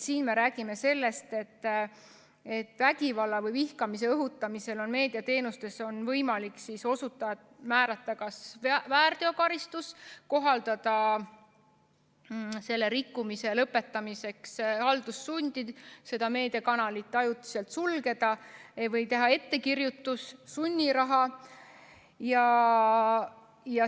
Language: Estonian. Siin me räägime sellest, et meediateenuste osutamisel on vägivalla või vihkamise õhutamise korral võimalik meediateenuste osutajale määrata kas väärteokaristus, kohaldada rikkumise lõpetamiseks haldussundi, meediakanal ajutiselt sulgeda või teha ettekirjutus, määrata sunniraha.